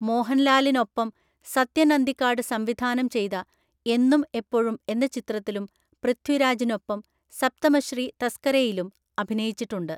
മോഹൻലാലിനൊപ്പം സത്യൻ അന്തിക്കാട് സംവിധാനം ചെയ്ത എന്നും എപ്പോഴും എന്ന ചിത്രത്തിലും പൃഥ്വിരാജിനൊപ്പം സപ്തമശ്രീ തസ്‌കരഹയിലും അഭിനയിച്ചിട്ടുണ്ട്.